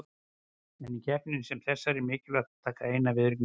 En í keppni sem þessari er mikilvægt að taka eina viðureign í einu.